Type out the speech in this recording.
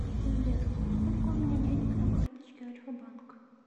сбер сколько у меня денег на карточке альфабанк